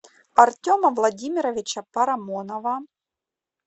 артема владимировича парамонова